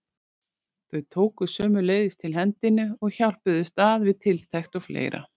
Þau tóku sömuleiðis til hendinni og hjálpuðust að við tiltekt og fleira.